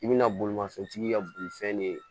I bɛna bolimafɛntigi ka bolifɛn de ye